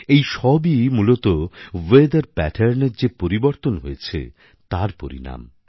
এই সবই মূলতঃ ওয়েথার Patternএ যে পরিবর্তন হয়েছে তার পরিনাম